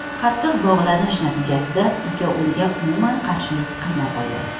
Qattiq bo‘g‘ilish natijasida uka unga umuman qarshilik qilmay qo‘ydi.